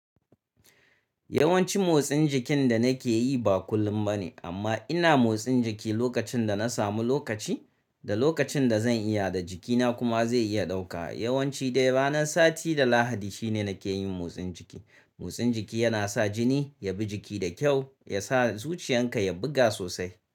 Yawanci motsin jikin da nake yi ba kullum ba ne amma ina motsin jiki lokacin da na samu lokaci, da lokacin da zan iya da jikina kuma zai iya ɗauka. Yawanci dai ranar sati da Lahadi shine nake yin motsin jiki. Motsin jiki yana sa jini ya bi jiki da kyau, ya sa zuciyan ka ya buga sosai.